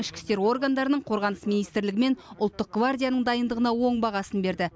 ішкі істер органдарының қорғаныс министрлігі мен ұлттық гвардияның дайындығына оң бағасын берді